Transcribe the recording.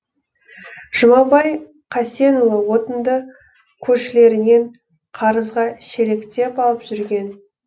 жұмабай қасенұлы отынды көршілерінен қарызға шелектеп алып жүрген